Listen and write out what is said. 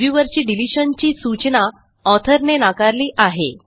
reviewer ची डिलिशनची सूचना ऑथर ने नाकारली आहे